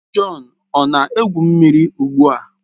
Jọn ọ na-egwu mmiri ugbu a?